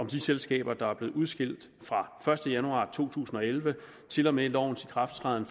de selskaber der er blevet udskilt fra første januar to tusind og elleve til og med lovens ikrafttræden